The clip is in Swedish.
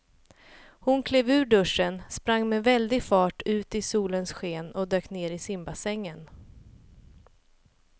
Hon klev ur duschen, sprang med väldig fart ut i solens sken och dök ner i simbassängen.